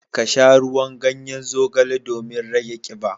Ka sha ruwan ganyen zogale domin rage kiba.